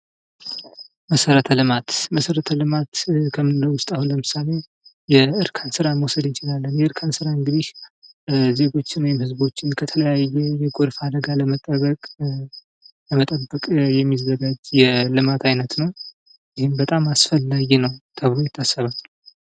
መሰረተ ልማት ከምንለው ውስጥ አሁን ለምሳሌ የእርከን ስራ መውሰድ እንችላለን። የእርከን ስራ እንግዲህ ዜጎችን ወይም ሕዝቦችን ከተለያየ የጎርፍ አደጋ ለመጠበቂያ የሚዘጋጅ የልማት አይነት ነው። ይህም በጣም አስፈላጊ ነው ተብሎ ይታሰባል።